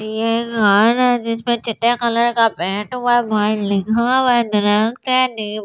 ये घर है जिस पे कलर का पेंट हुआ है बार लिखा हुआ है ।